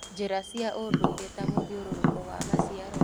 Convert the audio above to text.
Njĩra cia ũndũire ta mũthiũrũrũko wa maciaro